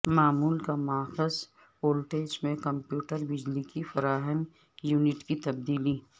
معمول کا ماخذ وولٹیج پر کمپیوٹر بجلی کی فراہمی یونٹ کی تبدیلی